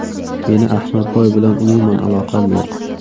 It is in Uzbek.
Meni Ahmadboy bilan umuman aloqam yo‘q.